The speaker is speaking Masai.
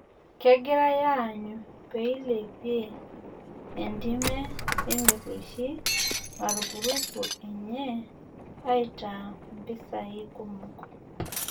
Kegirai aanyu peilepie entime merrueshi marupurupu enye aitaa mpisai kumok